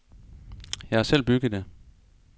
Jeg har selv bygget det.